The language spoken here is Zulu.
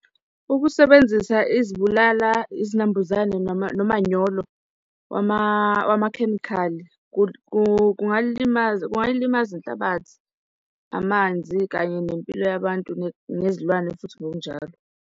Ukusebenzisa izibulala izinambuzane nomanyolo wamakhemikhali kungalilimaza, kungayilimaza inhlabathi, amanzi, kanye nempilo yabantu nezilwane futhi ngokunjalo.